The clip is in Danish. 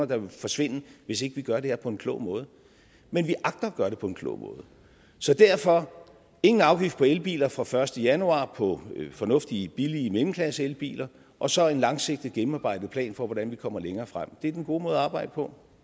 der vil forsvinde hvis ikke vi gør det her på en klog måde men vi agter at gøre det på en klog måde så derfor ingen afgift på elbiler fra den første januar på fornuftige billige mellemklasseelbiler og så en langsigtet gennemarbejdet plan for hvordan vi kommer længere frem det er den gode måde at arbejde på